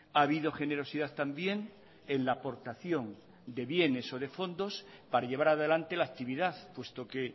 ha habido generosidad también en la aportación de bienes o de fondos para llevar adelante la actividad puesto que